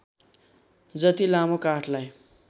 जति लामो काठलाई